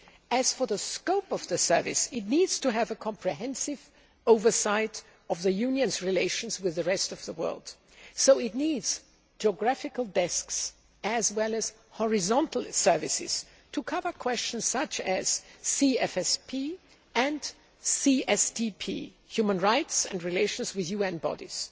As for the scope of the service, it needs to have a comprehensive overview of the Union's relations with the rest of the world, so it needs geographical desks as well as horizontal services to cover questions such as CFSP and CSDP, human rights and relations with UN bodies.